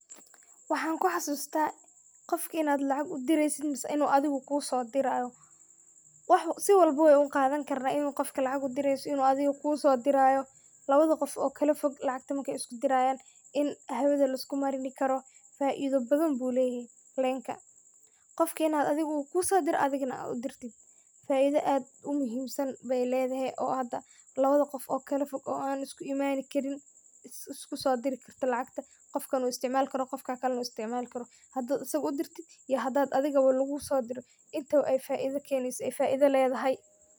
Waxa ku xasustah, Qoof ini lacag u dereysit, mise adiga inu kusodiraya si walbo wan u qaathan karnah, inu Qoofka lacagu u dereysoh mise Anu adega kusodirayo lawatha Qoof oo kalafoog lacagta marka isku deerayan in hawatha lisku marini karoh faitho bathan ayu leeyahay, leenka Qoofka ini adega kusodirah adegana aa u deertoh, faitha aad u mahimsan bay leethaya oo hada awatha Qoof oo kalafoog oo anah isku imanikarin isku so derikartoh lacag Qoofka wuu isticmalkarah Qoofkali nah wuu isticmalkaroh handa asaga u deertid iyo handa adegabo lagu so deerayo intabo AA faitho kaheelysit mise faitha leethahay.